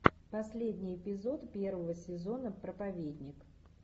последний эпизод первого сезона проповедник